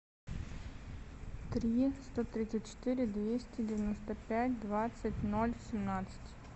три сто тридцать четыре двести девяносто пять двадцать ноль семнадцать